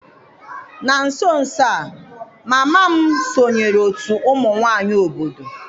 Na nso nso a, mama m sonyeere otu ụmụ nwanyị obodo.